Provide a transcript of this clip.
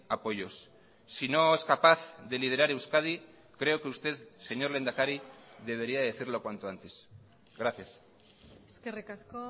apoyos si no es capaz de liderar euskadi creo que usted señor lehendakari debería decirlo cuanto antes gracias eskerrik asko